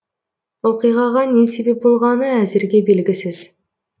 оқиғаға не себеп болғаны әзірге белгісіз